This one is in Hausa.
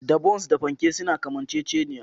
Da Bons da fanke suna kamanceceniya